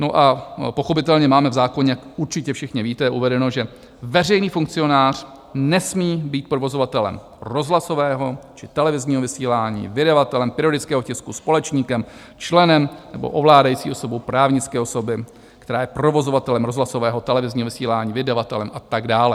No a pochopitelně máme v zákoně, jak určitě všichni víte, uvedeno, že veřejný funkcionář nesmí být provozovatelem rozhlasového či televizního vysílání, vydavatelem periodického tisku, společníkem, členem nebo ovládající osobou právnické osoby, která je provozovatelem rozhlasového, televizního vysílání, vydavatelem a tak dále.